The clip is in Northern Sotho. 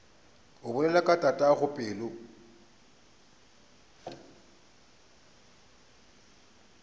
o bolela ka tatago pelo